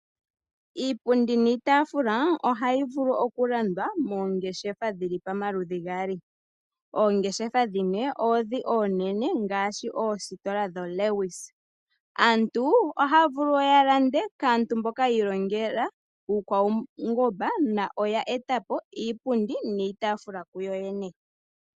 Iipundi niitaafula ohayi vulu okulandwa moongeshefa dhi li pamaludhi gaali. Oongeshefa dhimwe oondhi oonene ngaashi oositola dhoLewis. Aantu ohaya vulu wo ya lande kaantu mboka yi ilongela iikwaungomba noya eta po iipundi niitaafula kuyoyene.